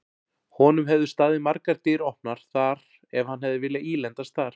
Honum hefðu staðið margar dyr opnar þar ef hann hefði viljað ílendast þar.